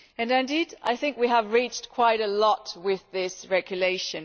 Indeed, I think we have achieved quite a lot with this regulation.